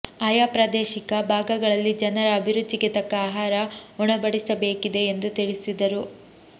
ಆಯಾ ಪ್ರಾದೇಶಿಕ ಭಾಗಗಳಲ್ಲಿ ಜನರ ಅಭಿರುಚಿಗೆ ತಕ್ಕ ಆಹಾರ ಉಣಬಡಿಸಬೇಕಿದೆ ಎಂದು ತಿಳಿಸಿದರು